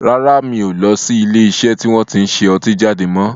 Rárá, mi ò lọ sí ilé iṣẹ́ tí wọn tin ṣe ọtí jáde mọ́